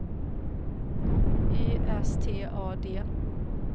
Y S T A D